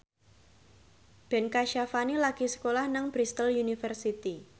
Ben Kasyafani lagi sekolah nang Bristol university